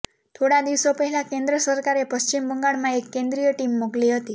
થોડા દિવસો પહેલા કેન્દ્ર સરકારે પશ્ચિમ બંગાળમાં એક કેન્દ્રીય ટીમ મોકલી હતી